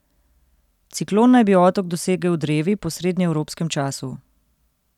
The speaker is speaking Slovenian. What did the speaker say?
Ciklon naj bi otok dosegel drevi po srednjeevropskem času.